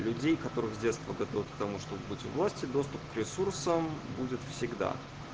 людей которые с детства готов к тому чтобы быть власти доступ к ресурсам будет всегда